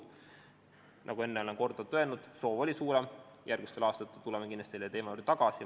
Nagu ma olen korduvalt öelnud, soov oli suurem, järgmistel aastatel tuleme kindlasti selle teema juurde tagasi.